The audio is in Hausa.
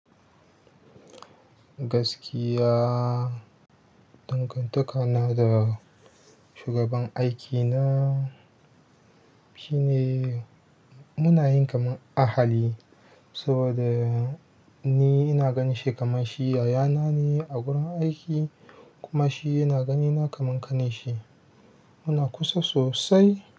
Gaskiya dangantaka na da shugaban aikina shine, munayi kaman ahali saboda ni ina ganinshi kaman shi yaya nane a wurin aiki kuma shi yana ganina kamar ƙanin shi. Muna kusa sosai.